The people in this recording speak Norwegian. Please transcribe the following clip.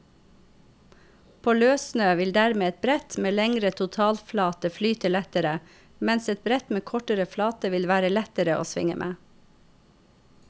På løssnø vil dermed et brett med lengre totalflate flyte lettere, mens et brett med kortere flate vil være lettere å svinge med.